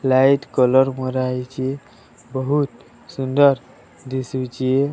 Light colour ମରାଯାଇଛି। ବହୁତ ସୁଂଦର ଦିଶୁଛି